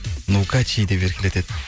нукачи деп еркелетеді